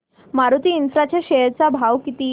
Maruti infra च्या share चा भाव किती